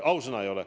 Ausõna, mina ei ole.